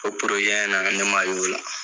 Ko na ne ma y' la.